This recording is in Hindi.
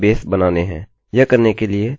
हम अभी डेटाबेसेस बनाने जा रहे हैं